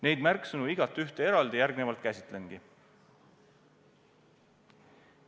Neid märksõnu igatühte eraldi nüüd käsitlengi.